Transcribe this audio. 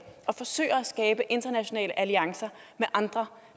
og forsøger at skabe internationale alliancer med andre